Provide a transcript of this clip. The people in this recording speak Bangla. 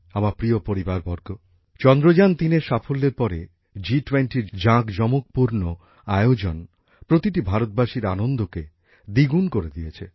আমার প্রিয় পরিবারবর্গ চন্দ্রযান ৩এর সাফল্যের পরে জিটোয়েন্টির জাঁকজমকপূর্ণ আয়োজন প্রতিটি ভারতবাসীর আনন্দকে দ্বিগুণ করে দিয়েছে